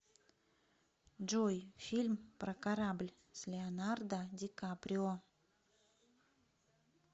джой фильм про корабль с леонардо дикаприо